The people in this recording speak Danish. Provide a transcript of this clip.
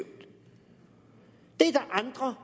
er der andre